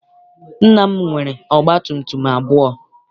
Nna m nwere ọgba tum tum abụọ.